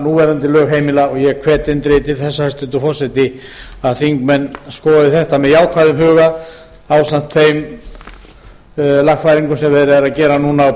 núverandi lög heimila og ég hvet eindregið til þess hæstvirtur forseti að þingmenn skoði þetta með jákvæðum huga ásamt þeim lagfæringum sem verið er að gera núna á